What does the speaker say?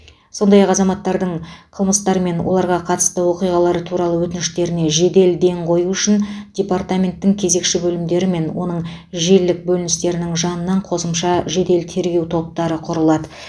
сондай ақ азаматтардың қылмыстар мен оларға қатысты оқиғалар туралы өтініштеріне жедел ден қою үшін департаменттің кезекші бөлімдері мен оның желілік бөліністерінің жанынан қосымша жедел тергеу топтары құрылды